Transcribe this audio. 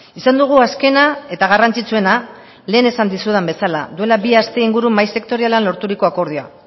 izan dugu azkena eta garrantzitsuena lehen esan dizudan bezala duela bi aste inguru mahai sektorialean lorturiko akordioa